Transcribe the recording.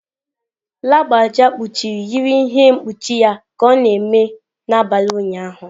Lagbaja kpuchiri yiri ihe mkpuchi ya ka ọ na-eme n'abalị ụnyaahụ.